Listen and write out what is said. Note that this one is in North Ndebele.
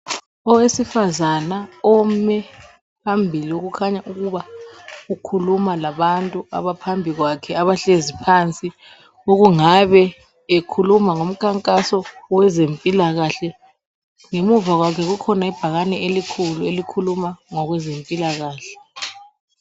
Owesifazana ome phambili kukhanya ukuba ukhuluma labantu abaphambi kwakhe abahlezi phansi okungabe ekhuluma ngomkhankaso wezempilakahle. Ngemuva kwakhe kukhona ibhakane elikhulu elikhuluma ngokwezempilakahle.